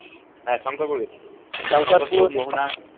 হ্যাঁ শংকরপুর গেছি